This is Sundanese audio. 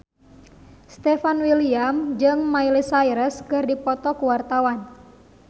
Stefan William jeung Miley Cyrus keur dipoto ku wartawan